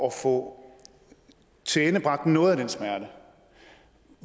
at få tilendebragt noget af den smerte